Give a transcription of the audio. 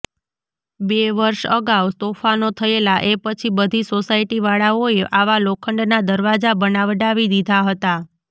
બે વર્ષ અગાઉ તોફાનો થયેલા એ પછી બધી સોસાયટીવાળાઓએ આવા લોખંડના દરવાજા બનાવડાવી દીધા હતા